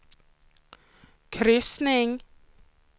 kryssning